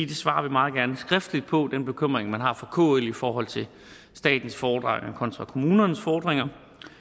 det svarer vi meget gerne skriftligt på altså den bekymring man har fra kl i forhold til statens fordringer kontra kommunernes fordringer